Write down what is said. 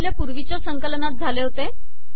हे आपल्या पूर्वीच्या संकलनात झाले होते